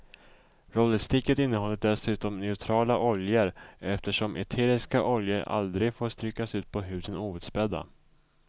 Rollersticket innehåller dessutom neutrala oljor eftersom eteriska oljor aldrig får strykas ut på huden outspädda.